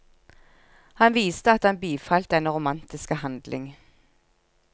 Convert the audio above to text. Han viste at han bifalt denne romantiske handling.